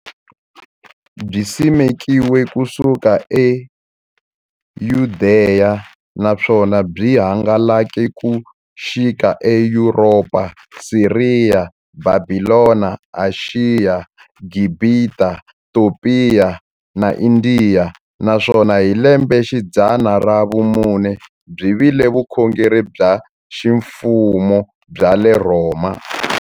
Byisimekiwe ku suka eYudeya, naswona byi hangalake ku xika eYuropa, Siriya, Bhabhilona, Ashiya, Gibhita, Topiya na Indiya, naswona hi lembexidzana ra vumune byi vile vukhongeri bya ximfumo bya le Rhoma.